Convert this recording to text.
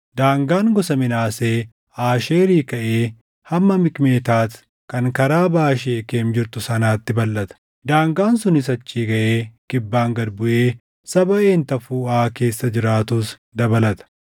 Daangaan gosa Minaasee Aasheerii kaʼee hamma Mikmetaati kan karaa baʼa Sheekem jirtu sanaatti balʼata. Daangaan sunis achii kaʼee kibbaan gad buʼee saba Een Tafuuʼaa keessa jiraatus dabalata.